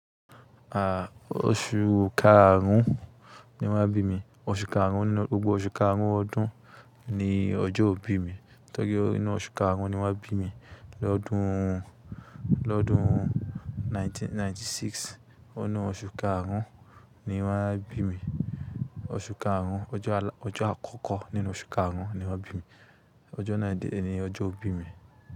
Ah, oṣù karùn-ún ni wọ́n bí mi, oṣù karùn-ún nínú, gbogbo oṣù karùn-ún ọdún ni ọjọ́ ọ bí mi. Tọ́rí ná oṣù karùn-ún ni wọ́n bí mi lọ́dún, lọ́dún 1996. Inu osun karun ni won bimi oṣù karùn-ún, ọjọ́ àlá, ọjọ́ àkọ́kọ́ nínú oṣù karùn-ún ni wọ́n bí mi. Ọjọ́ náa de ni ni ọjọ́ ọ bí mi.